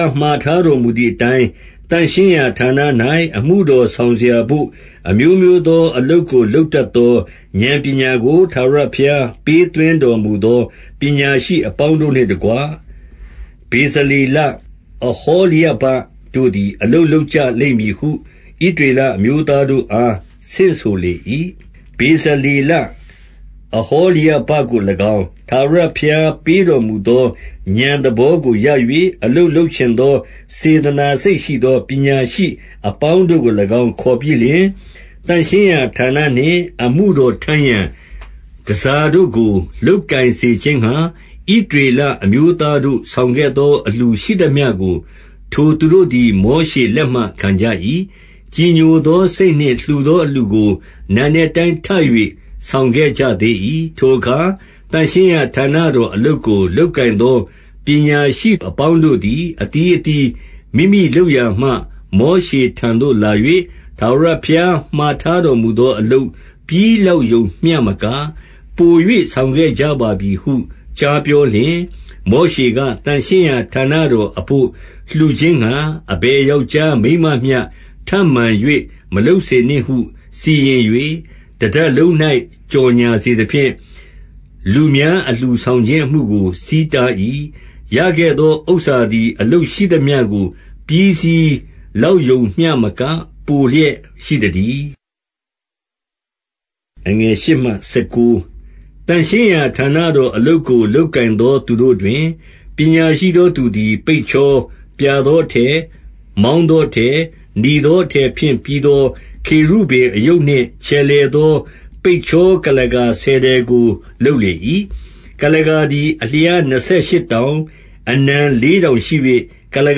ား မှာထားတော်မူသည်အတိုင်း၊ သန့်ရှင်းရာဌာန၌ အမှုတော်ဆောင်စရာဘို့၊ အမျိုးမျိုးသောအလုပ်ကို လုပ်တတ်သော ဥာဏ်ပညာကို ထာဝရဘုရား ပေးသွင်းတော်မူသော ပညာရှိအပေါင်း တို့နှင့်တကွ၊ ဗေဇလေလ၊ ဟောလျဘတို့သည် အလုပ်လုပ်ကြလိမ့်မည်ဟု ဣသရေလအမျိုးသားတို့အား ဆင့်ဆိုလေ၏။ တဖန် မောရှေသည်၊ ဗေဇလေလ၊ အဟောလျဘကို၎င်း၊ ထာဝရဘုရားပေးတော်မူသော ဥာဏ် သဘောကို ရ၍၊ အလုပ်လုပ်ချင်သော စေတနာစိတ်ရှိသော ပညာရှိအပေါင်းတို့ကို၎င်း ခေါ်ပြီးလျှင်၊ သန့်ရှင်းရာဌာနနှင့် အမှုတော်ထမ်းရန် တန်ဆာတို့ကို လုပ်ကိုင်စေခြင်းငှာ၊ ဣသရေလအမျိုးသားတို့ ဆောင်ခဲ့သော အလှူရှိသမျှကို ထိုသူတို့သည် မောရှေလက်မှ ခံကြ၏။ ကြည်ညိုသောစိတ်နှင့် လှူသောအလှူကို နံနက်တိုင်း ထပ်၍ ဆောင်ခဲ့ကြသေး၏။ ထိုအခါ သန့်ရှင်းရာဌာနတော်အလုပ်ကို လုပ်ကိုင်သော ပညာရှိအပေါင်းတို့သည်၊ အသီးအသီး မိမိလုပ်ရာမှ၊ မောရှေထံသို့ လာ၍ ထာဝရဘုရားမှာထားတော်မူသော အလုပ်ပြီးလောက်ရုံမျှမက၊ ပို၍ ဆောင်ခဲ့ကြ ပါပြီဟု ကြားပြောလျှင်၊ မောရှေက၊ သန့်ရှင်းရာဌာနတော်အဘို့ လှူခြင်းငှာ အဘယ်ယောက်ျားမိန်းမမျှ ထပ်မံ၍ မလုပ်စေနှင့် ဟု စီရင်၍၊ တတပ်လုံး၌ ကြော်ငြာစေသဖြင့်၊ လူများအလှူဆောင်ခြင်းအမှုကို ဆီးတား၏။ ရခဲ့သောဥစ္စာသည် လုပ်ရှိသမျှကို ပြီးစီးလောက်ရုံမျှမက ပိုလျက်ရှိသတည်း။ သန့်ရှင်းရာဌာနတော်အလုပ်ကို လုပ်ကိုင်သော သူတို့တွင်၊ ပညာရှိသောသူသည် ပိတ်ချော၊ ပြာသော အထည်၊ မောင်းသောအထည်၊ နီသောအထည်ဖြင့် ပြီးသော ခေရုဗိမ်အရုပ်နှင့် ချယ်လှယ်သော ပိတ်ချော ကုလားကာဆယ်ထည်ကို လုပ်လေ၏။ ကုလားကာသည် အလျားနှစ်ဆယ်ရှစ်တောင်၊ အနံလေးတောင်ရှိ၍၊ ကုလား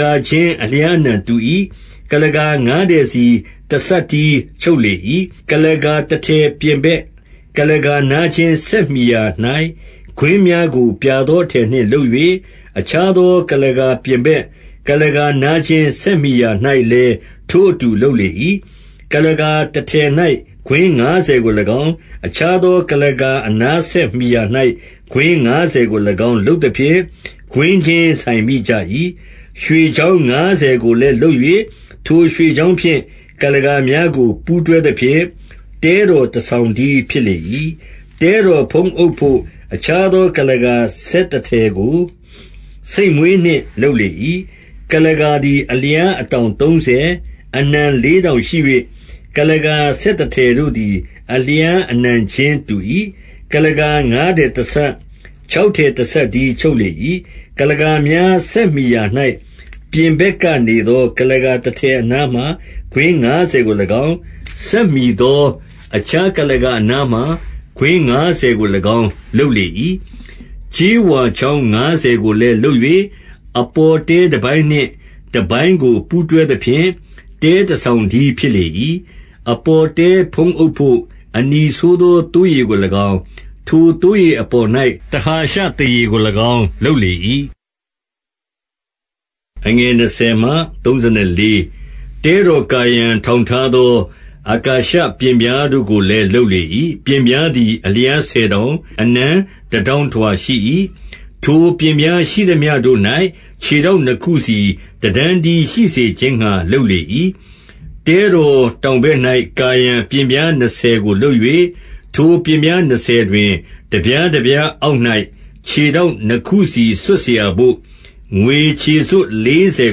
ကာချင်း အလျားအနံတူ၏။ ကုလားကာငါးထည်စီ တစပ်တည်းချုပ်လေ၏။ ကုလားကာတထည် ပြင်ဘက်ကုလားကာ နားချင်းဆက်မှီရာ၌ ကွင်းများကို ပြာသောအထည်နှင့် လုပ်၍၊ အခြားသော ကုလားကာပြင်ဘက် ကုလားကာနားချင်းဆက်မှီရာ၌လည်း ထိုအတူလုပ်လေ၏။ ကုလားကာတထည်၌ ကွင်းငါးဆယ်ကို၎င်း၊ အခြားသော ကုလားကာအနားဆက်မှီရာ၌ ကွင်းငါးဆယ်ကို ၎င်း လုပ်သဖြင့်၊ ကွင်းချင်းဆိုင်မိကြ၏။ ရွှေချောင်းငါးဆယ်ကိုလည်း လုပ်၍၊ ထိုရွှေချောင်းဖြင့် ကုလားကာများကို ပူးတွဲသဖြင့် တဲတော် တဆောင်တည်းဖြစ်လေ၏။ တဲတော်ဖုံးအုပ်ဘို့ အခြားသော ကုလားကာ ဆယ်တထည်ကို ဆိတ်မွေးနှင့် လုပ်လေ၏။ ကုလားကာသည် အလျားအတောင်သုံးဆယ်၊ အနံလေးတောင်ရှိ၍ ကုလားကာဆယ်တထည်တို့သည် အလျားအနံချင်း တူ၏။ ကုလားကာငါးထည်တစပ်၊ ခြောက်ထည်တစပ်တည်း ချုပ်လေ၏။ ကုလားကာများဆက်မှီရာ၌၊ ပြင်ဘက်ကနေသော ကုလားကာတထည်အနားမှာ ကွင်းငါးဆယ်ကို၎င်း၊ ဆက်မှီသော အခြားကုလားကာအနားမှာ ကွင်းငါးဆယ်ကို၎င်း လုပ်လေ၏။ ကြေးဝါချောင်းငါးဆယ်ကိုလည်း လုပ်၍ အပေါ်တဲတပိုင်းနှင့် တပိုင်းကို ပူးတွဲသဖြင့်၊ တဲတဆောင် တည်းဖြစ်လေ၏။ အပေါ်တဲဖုံးအုပ်ဘို့ အနီဆိုးသော သိုးရေကို၎င်း၊ ထိုသိုးရေအပေါ်၌ တဟာရှသားရေကို၎င်း လုပ်လေ၏။ တဲတော်ကာရန်ထောင်ထားသော အကာရှပျဉ်ပြားတို့ကိုလည်း လုပ်လေ၏။ ပျဉ်ပြားသည် အလျားဆယ်တောင်၊ အနံတတောင်ထွာရှိ၏။ ထိုပျဉ်ပြားရှိသမျှတို့၌ ခြေထောက်နှစ်ခုစီ တတန်းတည်းရှိစေခြင်းငှာ လုပ်လေ၏။ တဲတော်တောင်ဘက်၌ ကာရန် ပျဉ်ပြားနှစ်ဆယ်ကို လုပ်၍၊ ထိုပျဉ်ပြားနှစ်ဆယ်တွင်၊ တပြားတပြားအောက်၌ ခြေထောက် နှစ်ခုစီ စွပ်စရာဘို့ ငွေခြေစွပ် လေးဆယ်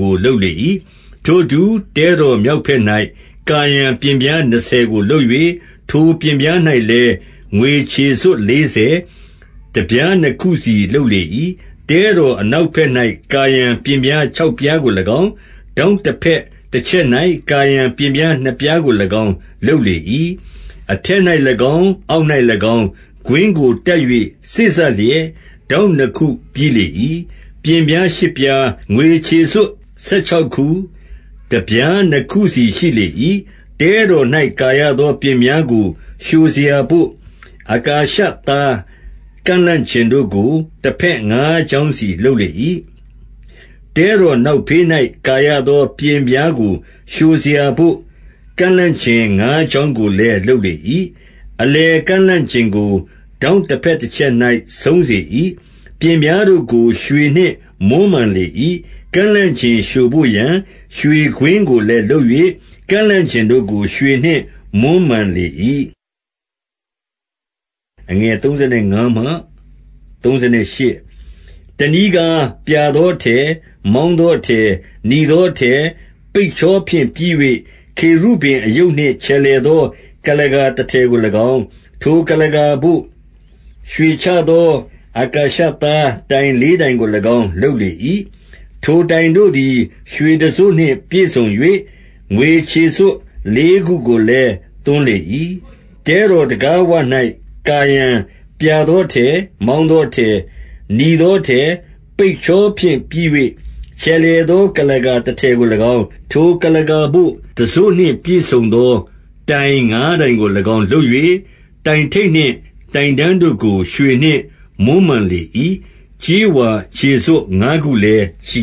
ကို လုပ်လေ၏။ ထိုအတူ တဲတော်မြောက်ဘက်၌ ကာရန် ပျဉ်ပြားနှစ်ဆယ်ကို လုပ်၍၊ ထိုပျဉ်ပြား၌လည်း ငွေခြေစွပ် လေးဆယ်၊ တပြားနှစ်ခုစီ လုပ်လေ၏။ တဲတော်အနောက်ဘက်၌ ကာရန် ပျဉ်ပြားခြောက်ပြားကို၎င်း၊ ထောင့်တဘက်တချက်၌ ကာရန် ပျဉ်ပြား နှစ်ပြားကို၎င်း လုပ်လေ၏။ အထက်၌၎င်း၊ အောက်၌၎င်း၊ ကွင်းကိုတပ်၍ စေ့စပ်လျက် ထောင့်နှစ်ခုပြီးလေ၏။ ပျဉ်ပြားရှစ်ပြား၊ ငွေခြေစွပ်ဆယ်ခြောက်ခု၊ တပြားနှစ်ခုစီရှိလေ၏။ တဲတော်၌ ကာရသော ပျဉ်ပြားကို လျှိုစရာဘို့ အကာရှသား ကန့်လန့်ကျင်တို့ကို၊ တဘက်ငါးချောင်းစီ လုပ်လေ၏။ တဲတော်နောက်ဖေး၌ ကာရသော ပျဉ်ပြားကို လျှိုစရာဘို့၊ ကန့်လန့်ကျင်ငါးချောင်းကိုလည်း လုပ်လေ၏။ အလယ်ကန့်လန့်ကျင်ကို ထောင့်တဘက်တချက်၌ ဆုံးစေ၏။ ပျဉ်ပြားတို့ကို ရွှေနှင့်မွမ်းမံလေ၏။ ကန့်လန့်ကျင်လျှိုဘို့ရာ ရွှေကွင်းကိုလည်းလုပ်၍ ကန့်လန့်ကျင်တို့ကို ရွှေနှင့်မွမ်းမံလေ၏။ တနည်းကား၊ ပြာသောအထည်၊ မောင်းသောအထည်၊ နီသောအထည်၊ ပိတ်ချောဖြင့် ပြီး၍၊ ခေရုဗိမ်အရုပ်နှင့်၊ ချယ်လှယ်သော ကုလားကာတထည်ကို၎င်း၊ ထိုကုလားကာဘို့ ရွှေချသော အကာရှသားတိုင်လေးတိုင်ကို၎င်း လုပ်လေ၏။ ထိုတိုင်တို့သည် ရွှေတံစို့နှင့် ပြည့်စုံ၍၊ ငွေခြေစွပ်လေးခုကိုလည်း သွန်းလေ၏။ တဲတော်တံခါးဝ၌ ကာရန်၊ ပြာသောအထည်၊ မောင်းသော အထည်၊ နီသော အထည် ပိတ်ချောဖြင့် ပြီး၍ ချယ်လှယ်သော ကုလားကာတထည်ကို၎င်း၊ ထိုကုလားကာဘို့ တံစို့နှင့် ပြည့်စုံသော တိုင်ငါးတိုင်ကို၎င်း လုပ်၍၊ တိုင်ထိပ်နှင့်တိုင်တန်တို့ကို ရွှေနှင့် မွမ်းမံလေ၏။ ကြေးဝါခြေစွပ်ငါးခုလည်း ရှိ